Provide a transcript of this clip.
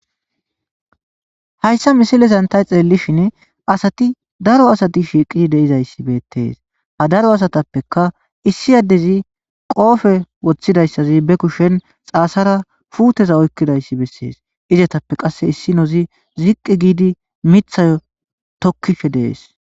Hayssa misilen tani xeellishin asati daro asati shiiqi de7izayssi beettees. Ha daro asatappekka issi addezi qoope woththidayssazi be mushen xaasara puute oyikkidayssi bessees. Izetappe qasse issinozi ziqqi giidi miththiyo tokkishe dees.